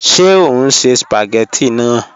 Ṣe o n ṣe spagétì naa?